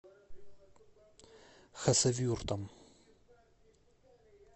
хасавюртом